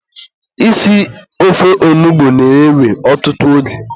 isi ofe onugbu na-ewe ọtụtụ oge.